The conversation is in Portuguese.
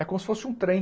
É como se fosse um trem.